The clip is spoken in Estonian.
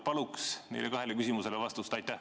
Palun nendele kahele küsimusele vastust!